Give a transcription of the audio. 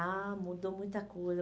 Ah, mudou muita coisa.